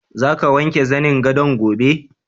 Za ka wanke zanin gadon gobe?